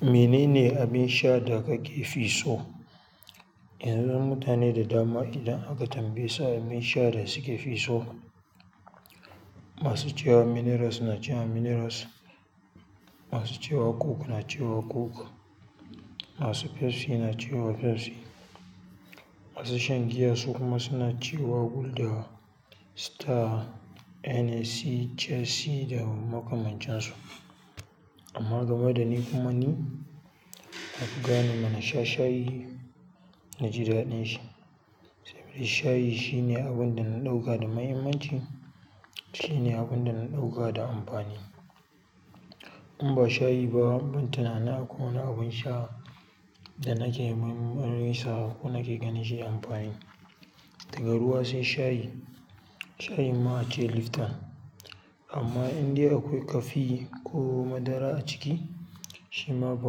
Menene abin sha da kake fi so? Yanzu mutane da dama idan aka tambaye su abin sha da suke fi so, masu cewa minerals na cewa minerals, masu cewa coke na cewa coke, masu Pepsi na cewa Pepsi. Masu shan giya su kuma suna cewa Gulder, Star, NSA, Chelsea da makamancin su. Amma game dani kuma nafi gane ma nasha shayi naji daɗin shi domin shayi shine abunda na ɗauka da muhimmanci shine abunda na ɗauka da amfani in ba shayi ba, ban tunani akwai wani abin sha da nake marmarinsa ko nake ganin shi da amfani. Daga ruwa sai shayi. Shayi ma ace liftan. Amma in dai akwai kafi ko madara a ciki, shi ma ba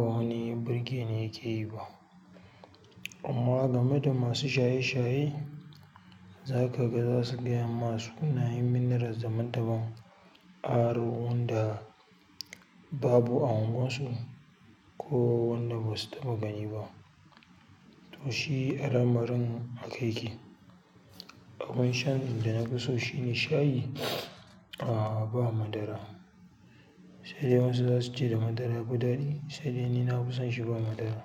wani birge ni yake yi ba. Amma game da masu shaye shaye, za ka ga za su gaya ma sunayen minerals daban daban aro wanda babu a unguwar su ko wanda basu taɓa gani ba. To shi al'amarin haka yake. Abin shan da na fi so shine shayi a ba madara. Sai dai wasu za su ce da madara yafi daɗi. Sai dai ni na fi son shi ba madara.